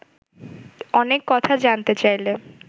অনেক কথা জানতে চাইলে